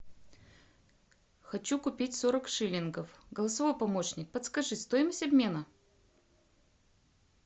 хочу купить сорок шиллингов голосовой помощник подскажи стоимость обмена